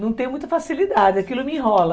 Não tem muita facilidade, aquilo me enrola.